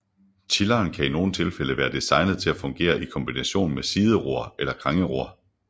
Tilleren kan i nogen tilfælde være designet til at fungere i kombination med sideror eller krængeror